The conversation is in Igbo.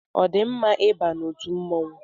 Ọ dị mma I ba n'otu mmọnwụ?